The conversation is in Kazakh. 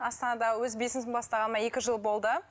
астанада өз бизнесімді бастағаныма екі жыл болды